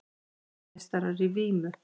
Heimsmeistarar í vímu